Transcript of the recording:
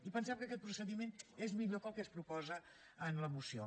i pensem que aquest procediment és millor que el que es proposa en la moció